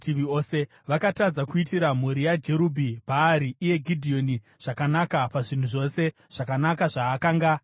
Vakatadza kuitira mhuri yaJerubhi-Bhaari (iye Gidheoni) zvakanaka pazvinhu zvose zvakanaka zvaakanga avaitira.